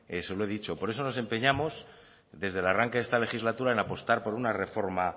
se lo he dicho por eso nos empeñamos desde el arranque de esta legislatura en apostar por una reforma